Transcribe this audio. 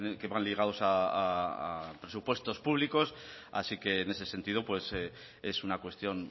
que van ligados a presupuestos públicos así que en ese sentido es una cuestión